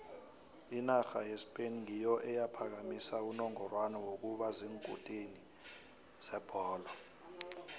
inarha yespain ngiyo eyaphakamisa unongorwana wokuba ziinkutini zebholo